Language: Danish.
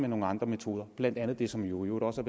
nogle andre metoder blandt andet det som jo i øvrigt også